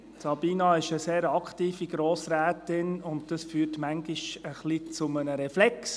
Sabina Geissbühler ist eine sehr aktive Grossrätin, und dies führt manchmal ein bisschen zu einem Reflex.